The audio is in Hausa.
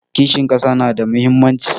Kishin ƙasa na da muhimmanci